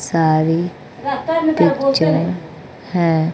सारी पिक्चर है।